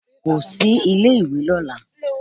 Kò sí ilé ìwé lọ́la.